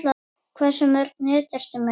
Hversu mörg net ertu með?